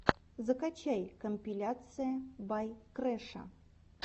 закачай компиляция бай крэша